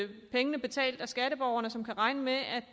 pengene betalt af skatteborgerne og som kan regne med at